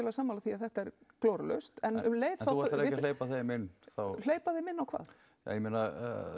sammála því að þetta er glórulaust en þú ætlar ekki að hleypa þeim inn hleypa þeim inn á hvað ég meina